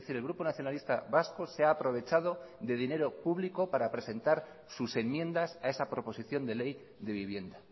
el grupo nacionalista vasco se ha aprovechado de dinero público para presentar sus enmiendas a esa proposición de ley de vivienda